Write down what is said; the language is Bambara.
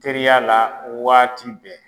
Teriya la waati bɛɛ.